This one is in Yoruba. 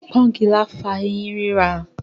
Pọ́ngilá fa ẹyín rírà.